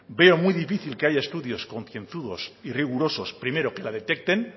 veo muy difícil que haya estudios concienzudos y rigurosos primero que la detecten